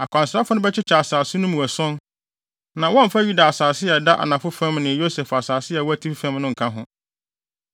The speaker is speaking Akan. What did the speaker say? Akwansrafo no bɛkyekyɛ asase no mu ason, na wɔmmfa Yuda asase a ɛda anafo fam ne Yosef asase a ɛwɔ atifi fam no nka ho.